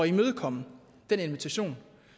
imødekomme den invitation